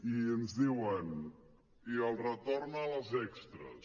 i ens diuen i el retorn a les extres